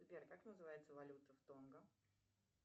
сбер как называется валюта в тонго